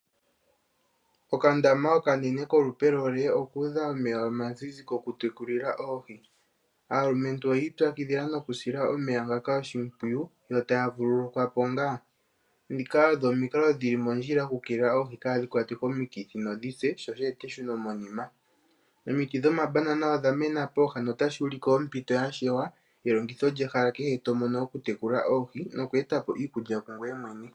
Okandama okanene kolupe lo L okuudha omeya omazizi goku tekulila oohi, aalumentu oyii pyakidhila noku sila omeya ngaka oshimpwiyu yo taya vululukwa po ngaa, dhika odho omikalo dhili mondjila oku keelela oohi kaadhi kwate komikithi nodhi se sho sheete eshunomonima. Omiti dhomabanana odha mena pooha notashi ulike ompito yashewa, nelongitho lyehala kehe tomono oku tekula oohi noku eta po iikulya kungweye mwene.